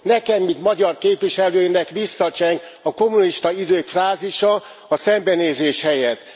Nekem, mint magyar képviselőnek visszacseng a kommunista idők frázisa, a szembenézés helyett.